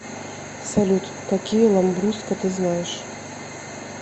салют какие ламбруско ты знаешь